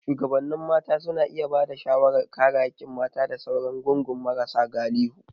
Shugabannin mata suna iya ba da shawarar kare haƙƙin mata da sauran gungun marasa galihu.